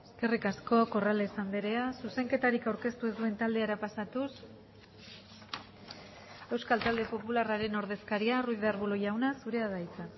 eskerrik asko corrales andrea zuzenketarik aurkeztu ez duen taldera pasatuz euskal talde popularraren ordezkaria ruiz de arbulo jauna zurea da hitza